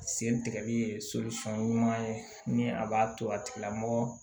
Sen tigɛli ye ɲuman ye ni a b'a to a tigilamɔgɔ